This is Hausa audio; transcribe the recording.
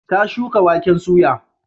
Ta shuka waken soya.